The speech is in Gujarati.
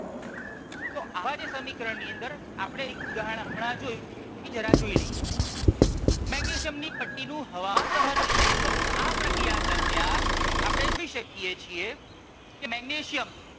તો આવા જે સમીકરણ ની અંદર આપણે એક ઉદાહરણ હમણાં જોયું એ જરા જોઈ લઈએ. મેગ્નેશિયમ ની પટ્ટી નું હવા દહન તો આ પ્રક્રિયા દરમિયાન આપણે જોઈ શકીએ છીએ કે મેગ્નેશિયમ